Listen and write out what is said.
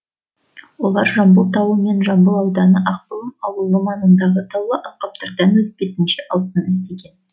олар жамбыл тауы мен жамбыл ауданы ақбұлым ауылы маңындағы таулы алқаптардан өз бетінше алтын іздеген